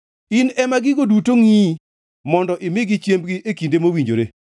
In ema gigo duto ngʼiyi mondo imigi chiembgi e kinde mowinjore.